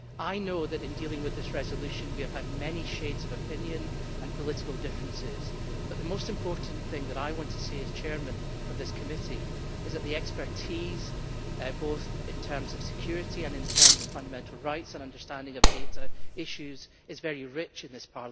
I know that in dealing with this resolution we have had many shades of opinion and political differences, but the most important thing that I want to say as Chair of this Committee is that the expertise, both in terms of security and in terms of fundamental rights and understanding of data issues, is very rich in this